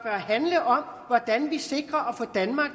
handle om hvordan vi sikrer at få danmark